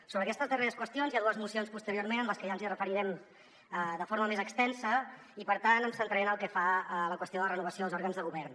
sobre aquestes darreres qüestions hi ha dues mocions posteriorment a les que ja ens referirem de forma més extensa i per tant em centraré en el que fa a la qüestió de la renovació dels òrgans de govern